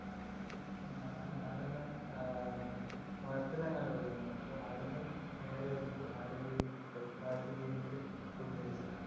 ആഹ് മൊഴപ്പിൽ അങ്ങോട്പോയിരുന്നു അപ്പൊ അവിടന്ന് നേരെ വരുമ്പോ അവിടെ ക്കേറി pepper palace ൽ കേറീട്ട് food അടിച്ചു